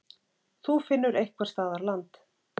Þú finnur einhvers staðar land.